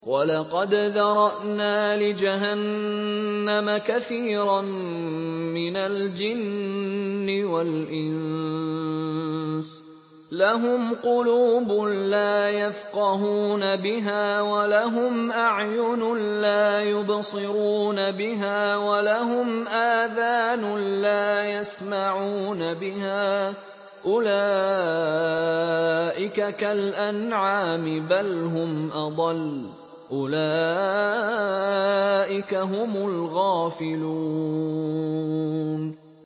وَلَقَدْ ذَرَأْنَا لِجَهَنَّمَ كَثِيرًا مِّنَ الْجِنِّ وَالْإِنسِ ۖ لَهُمْ قُلُوبٌ لَّا يَفْقَهُونَ بِهَا وَلَهُمْ أَعْيُنٌ لَّا يُبْصِرُونَ بِهَا وَلَهُمْ آذَانٌ لَّا يَسْمَعُونَ بِهَا ۚ أُولَٰئِكَ كَالْأَنْعَامِ بَلْ هُمْ أَضَلُّ ۚ أُولَٰئِكَ هُمُ الْغَافِلُونَ